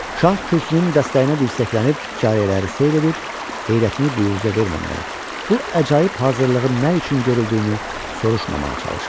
Şah kürsünün dəstəyinə dirsəklənib cariyələri seyr edir, heyrətini büruzə verməməyə, bu əcaib hazırlığın nə üçün görüldüyünü soruşmamağa çalışırdı.